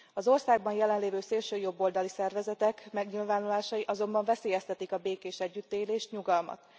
Az országban jelenlévő szélsőjobboldali szervezetek megnyilvánulásai azonban veszélyeztetik a békés együttélést, nyugalmat.